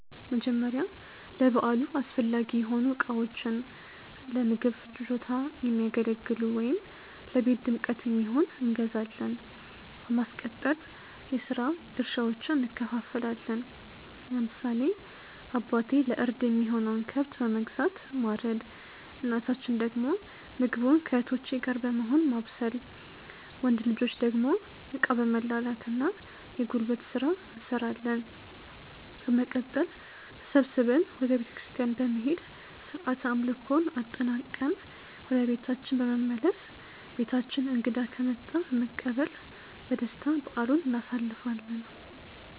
መጀመርያ ለበዓሉ አስፈላጊ የሆኑ እቃዎችን(ለምግብ ፍጆታ የሚያገለግሉ ወይም ለቤት ድምቀት የሚሆን)እንገዛዛለን። በማስቀጠል የስራ ድርሻዎችን እንከፋፈላለን። ለምሳሌ አባቴ ለእርድ የሚሆነውን ከብት በመግዛት ማረድ እናታችን ደግሞ ምግቡን ከእህቶቼ ጋር በመሆን ማብሰል። ወንድ ልጆች ደግሞ እቃ በመላላክ እና የጉልበት ስራ እንሰራለን። በመቀጠል ተሰብስበን ወደ ቤተክርስቲያን በመሄድ ስርዓተ አምልኮውን አጠናቅቀን ወደ ቤታችን በመመለስ በቤታችን እንግዳ ከመጣ በመቀበል በደስታ በዓሉን እናሳልፋለን።